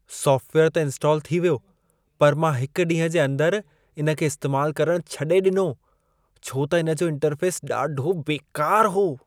सॉफ़्टवेयरु त इंस्टाल थी वियो, पर मां हिकु ॾींहं जे अंदर इन खे इस्तेमालु करण छॾे ॾिनो, छो त इन जो इंटरफेस ॾाढो बेकार हो।